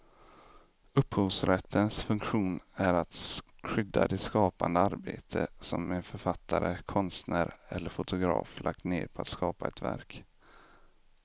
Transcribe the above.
Upphovsrättens funktion är att skydda det skapande arbete som en författare, konstnär eller fotograf lagt ned på att skapa ett verk.